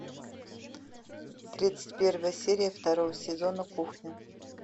тридцать первая серия второго сезона кухня